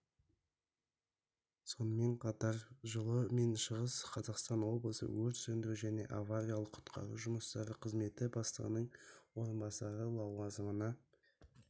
сонымен қатар жылы мен шығыс қазақстан облысы өрт сөндіру және авариялық-құтқару жұмыстары қызметі бастығының орынбасары лауазымына